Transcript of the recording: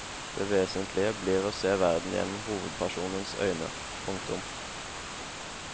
Det vesentlige blir å se verden gjennom hovedpersonens øyne. punktum